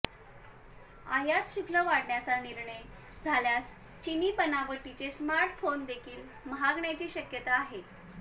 आयात शुल्क वाढवण्याचा निर्णय झाल्यास चिनी बनावटीचे स्मार्टफोनदेखील महागण्याची शक्यता आहे